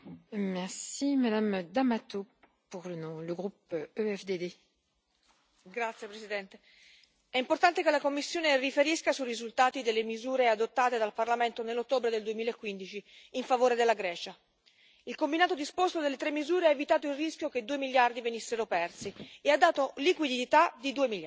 Signora Presidente, onorevoli colleghi, è importante che la Commissione riferisca sui risultati delle misure adottate dal Parlamento nell'ottobre del 2015 in favore della Grecia. Il combinato disposto delle tre misure ha evitato il rischio che 2 miliardi venissero persi e ha dato liquidità per 2 miliardi,